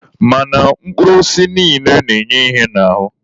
Mana mkpụrụ osisi niile na-enye ihe n'ahụ.